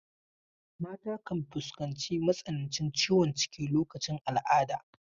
Mata kan fuskanci matsanancin ciwon ciki lokacin al'ada.